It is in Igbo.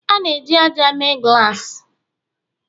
A na-eji ájá mee glassi